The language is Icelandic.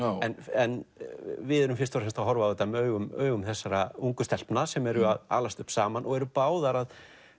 en við erum fyrst og fremst að horfa á þetta með augum augum þessara ungu stelpna sem alast upp saman og eru báðar að